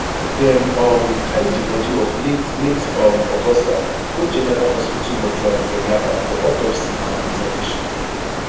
dem um carry di body of late late um augusta go general hospital mortuary for yaba for autopsy and preservation